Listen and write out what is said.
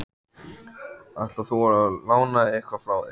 Ætlar þú að lána eitthvað frá þér?